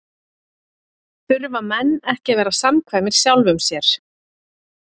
Þurfa menn ekki að vera samkvæmir sjálfum sér?